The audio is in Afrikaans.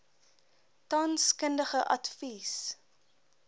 tans kundige advies